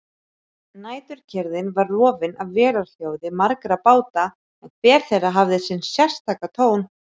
Næturkyrrðin var rofin af vélarhljóði margra báta en hver þeirra hafði sinn sérstaka tón.